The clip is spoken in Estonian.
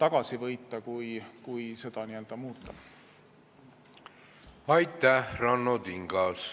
Aitäh, Ranno Tingas!